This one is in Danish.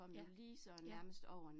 Ja, ja